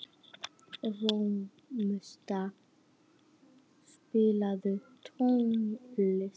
Rósmunda, spilaðu tónlist.